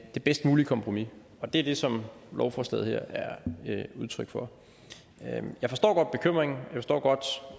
det bedst mulige kompromis og det er det som lovforslaget her er udtryk for jeg forstår godt bekymringen